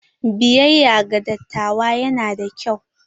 Biyayya ga dattawa yana da kyau.